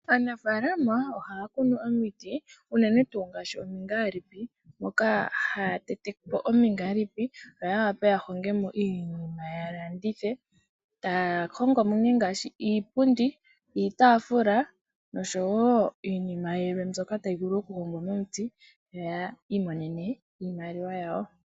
Aanafaalama ohaakunu omiti unene tuu ngaashi omingaalipi mokaa haatetepo omingaalipi yo yawape yahongemo iinima yalandithe taahongomo nee ngaashi iipundi, iitaafula noshowoo iinima yilwe mbyoka tayivulu okuhongwa momuti yo ya imonene iimaliwa yawo.